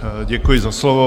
Děkuji za slovo.